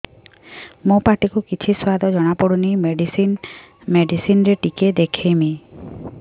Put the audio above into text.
ମୋ ପାଟି କୁ କିଛି ସୁଆଦ ଜଣାପଡ଼ୁନି ମେଡିସିନ ରେ ଟିକେ ଦେଖେଇମି